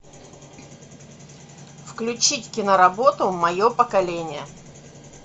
включить киноработу мое поколение